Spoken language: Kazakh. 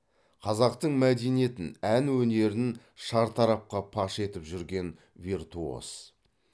қазақтың мәдениетін ән өнерін шартарапқа паш етіп жүрген виртуоз